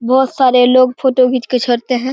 बहोत सारे लोग फोटो खींच के छोड़ते है।